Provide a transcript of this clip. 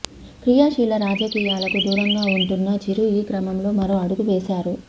క్రియాశీల రాజకీయాలకు దూరంగా ఉంటున్న చిరు ఈ క్రమంలో మరో అడుగు వేశారు